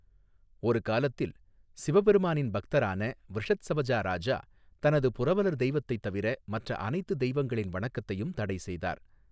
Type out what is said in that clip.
ஒரு காலத்தில், சிவபெருமானின் பக்தரான விருஷத்சவஜா ராஜா, தனது புரவலர் தெய்வத்தைத் தவிர மற்ற அனைத்து தெய்வங்களின் வணக்கத்தையும் தடை செய்தார்.